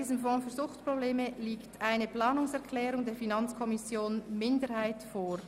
Hier liegt eine Planungserklärung der FiKo-Minderheit vor.